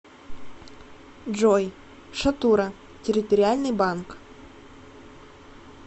джой шатура территориальный банк